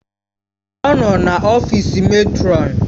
Ọ nọ n'ọfịs mètrọn.